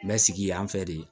Mɛ sigi yan fɛ de